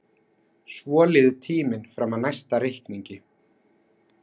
Svo líður tíminn fram að næsta reikningi.